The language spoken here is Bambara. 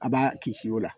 A b'a kisi o la